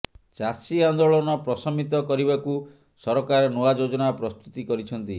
ଚାଷୀ ଆନ୍ଦୋଳନ ପ୍ରଶମିତ କରିବାକୁ ସରକାର ନୂଆ ଯୋଜନା ପ୍ରସ୍ତୁତି କରିଛନ୍ତି